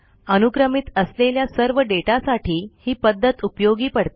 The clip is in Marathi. अनुक्रमित असलेल्या सर्व डेटासाठी ही पध्दत उपयोगी पडते